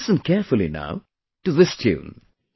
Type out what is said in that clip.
Listen carefully now to this tune